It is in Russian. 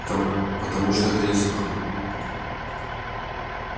там потому что это неслыханно